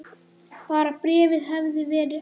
Bara bréfið hefði verið ekta!